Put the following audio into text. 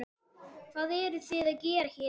Hvað eruð þið að gera hérna í dag?